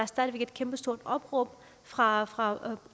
stadig væk et kæmpe stort opråb fra fra